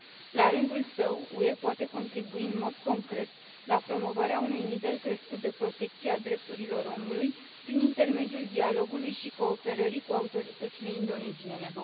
La rândul său, UE poate contribui în mod concret la promovarea unui nivel crescut de protecție a drepturilor omului, prin intermediul dialogului și cooperării cu autoritățile indoneziene.